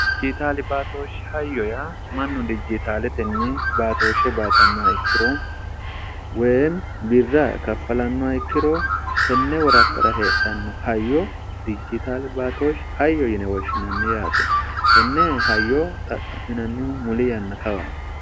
dijitaali baatooshi hayyo ya mannu dijitaale tenni baatooshshe baatannoa ikkiro weem birra kaffalannoa ikkiro tenne worakkara heedhanno hayyo dijjitaali baatooshi hayyo yine woshshinanni yaate tenne hayyo xaqqa'minannihu muli yanna kawa